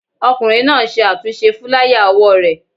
Ọkùnrin náà ń ṣe àtúnṣe fúláyà òwò rẹ̀